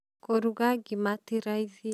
kũruga ngĩma tĩ raithĩ